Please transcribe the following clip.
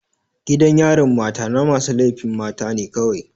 Gidan yarin mata na masu laifin mata ne kawai.